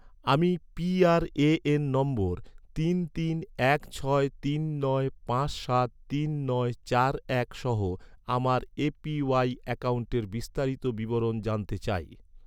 আমি পিআরএএন নম্বর তিন তিন এক ছয় তিন নয় নয় পাঁচ সাত দিন নয় চার এক সহ আমার এ.পি.ওয়াই অ্যাকাউন্টের বিস্তারিত বিবরণ জানতে চাই